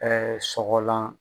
sɔgɔlan